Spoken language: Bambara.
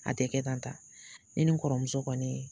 A tɛ kɛ tan ta ne ni n kɔrɔmuso kɔnni .